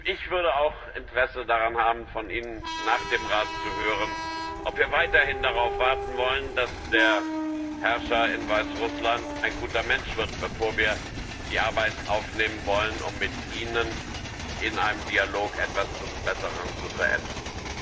Ich würde auch Interesse daran haben, von Ihnen nach dem Europäischen Rat zu hören, ob wir weiterhin darauf warten wollen, dass der Herrscher in Weißrussland ein guter Mensch wird, bevor wir die Arbeit aufnehmen wollen, um in einem Dialog etwas zum Besseren zu verändern.